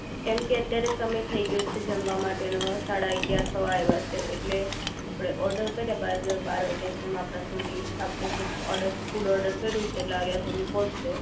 કેમકે અત્યારે સમય થઈ ગયો છે જમવા માટેનો સાડા અગિયાર થવા આવ્યા છે એટલે આપણે ઓર્ડર કરીએ બાદ બાર વાગ્યા જેમ આપણી સુધી આપણે જે ફૂડ ઓર્ડર કર્યું છે આપણા સુધી પહોંચશે